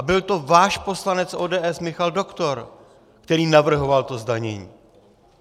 A byl to váš poslanec ODS Michal Doktor, který navrhoval to zdanění.